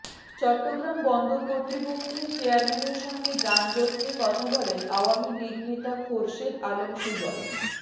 চট্টগ্রাম বন্দর কর্তৃপক্ষের চেয়ারম্যানের সঙ্গে যানজট নিয়ে কথা বলেন আওয়ামী লীগ নেতা খোরশেদ আলম সুজন